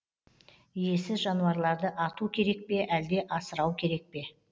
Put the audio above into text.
иесіз жануарларды ату керек пе әлде асырау керек пе